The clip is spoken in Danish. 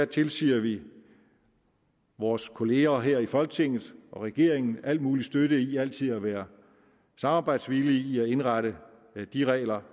tilsiger vi vores kollegaer her i folketinget og regeringen al mulig støtte i altid at være samarbejdsvillige i at indrette de regler